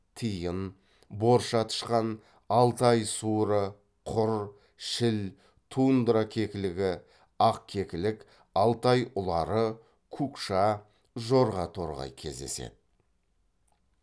тиін борша тышқан алтай суыры құр шіл тундра кекілігі ақ кекілік алтай ұлары кукша жорға торғай кездеседі